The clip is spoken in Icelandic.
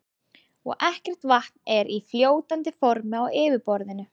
Og ekkert vatn er í fljótandi formi á yfirborðinu.